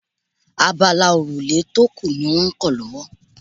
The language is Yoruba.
Abala òrùlé tó kù ní wọ́n kan lọ́wọ́